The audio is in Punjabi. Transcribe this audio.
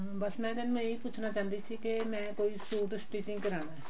ਬੱਸ ਮੈਂ ਤੁਹਾਨੂੰ ਇਹੀ ਪੁੱਛਨਾ ਚਾਹੁੰਦੀ ਸੀ ਕਿ ਮੈਂ ਕੋਈ ਸੂਟ stitching ਕਰਾਣਾ